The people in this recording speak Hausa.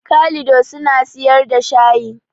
Kalido suna siyar da shayi